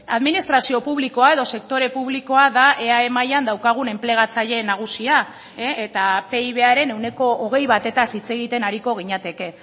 administrazio publikoa edo sektore publikoa da eae mailan daukagun enplegatzaile nagusia eta pibaren ehuneko hogei batez hitz egiten ariko ginateke